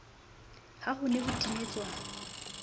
ha ho ne ho timetswa